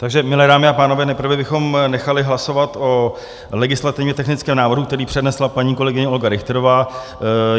Takže milé dámy a pánové, nejprve bychom nechali hlasovat o legislativně technickém návrhu, který přednesla paní kolegyně Olga Richterová.